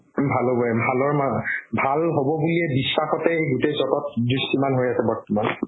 ভাল হ'বৈ ভালৰ ভাল হ'ব বুলি বিশ্বাসতেই গুতেই জগত দৃষ্টিমান হয় আছে বৰ্তমান